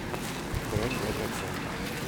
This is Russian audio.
бронь два дракона